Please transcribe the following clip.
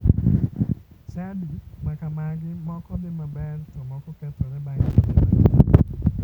Chadi makamagi moko dhi maber to moko kethore bang' kinde matin.